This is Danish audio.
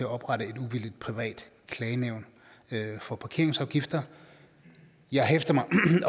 oprette et uvildigt privat klagenævn for parkeringsafgifter jeg hæfter mig